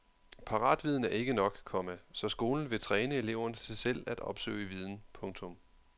Paratviden er ikke nok, komma så skolen vil træne eleverne til selv at opsøge viden. punktum